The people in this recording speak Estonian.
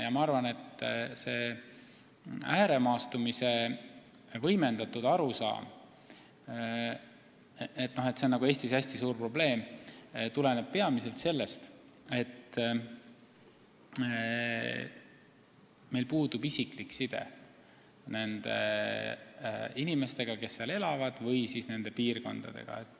Ma arvan, et see võimendatud arusaam, et ääremaastumine on Eestis hästi suur probleem, tuleneb peamiselt sellest, et meil puudub isiklik side nende inimestega, kes seal elavad, või nende piirkondadega.